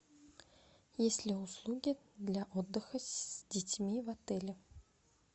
есть ли услуги для отдыха с детьми в отеле